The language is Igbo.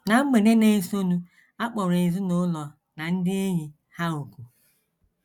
Ná mgbede na - esonụ a kpọrọ ezinụlọ na ndị enyi ha òkù.